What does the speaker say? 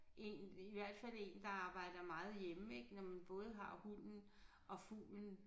Egentlig i hvert fald én der arbejder meget hjemme ik når man både har hunden og fuglen